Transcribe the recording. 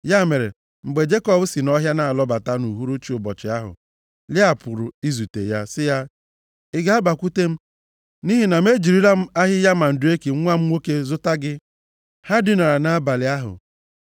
Ya mere, mgbe Jekọb si nʼọhịa na-alọbata nʼuhuruchi ụbọchị ahụ, Lịa pụrụ izute ya, sị ya, “Ị ga-abakwute m nʼihi na m ejirila m ahịhịa mandreki nwa m nwoke m zụta gị.” Ha dinara nʼabalị ahụ.